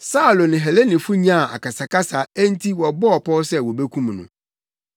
Saulo ne Helenifo nyaa akasakasa enti wɔbɔɔ pɔw sɛ wobekum no.